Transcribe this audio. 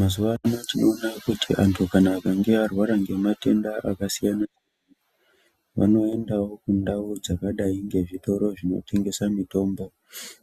Mazuva ano tinoona kuti antu kana akange arwara ngematenda akasiyana, vanoendawo kundau dzakadai ngezvitoro zvinotengesa mitombo